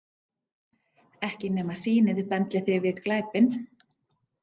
Ekki nema sýnið bendli þig við glæpinn.